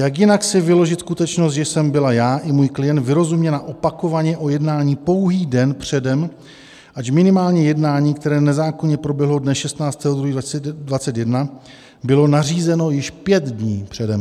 Jak jinak si vyložit skutečnost, že jsem byla já i můj klient vyrozuměna opakovaně o jednání pouhý den předem, ač minimálně jednání, které nezákonně proběhlo dne 16. 2. 2021, bylo nařízeno již pět dní předem?